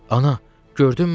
Ana, gördünmü?